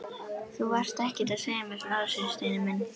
Þú varst ekkert að segja mér frá þessu, Steini minn!